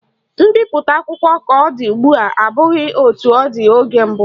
Mbipụta akwụkwọ ka ọ dị ugbua abụghị etu ọ dị oge mbụ